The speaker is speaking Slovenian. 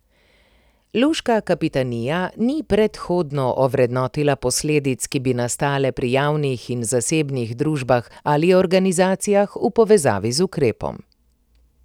Luška kapitanija ni predhodno ovrednotila posledic, ki bi nastale pri javnih in zasebnih družbah ali organizacijah v povezavi z ukrepom.